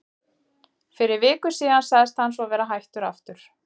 Fyrir viku síðan sagðist hann svo vera hættur aftur.